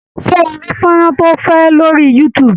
Ṣé ó rí fónrán tí ó fẹ́ lórí youtube?